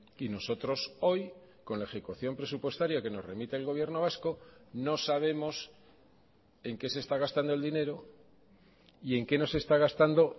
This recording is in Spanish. y nosotros hoy con la ejecución presupuestaria que nos remite el gobierno vasco no sabemos en qué se está gastando el dinero y en qué no se está gastando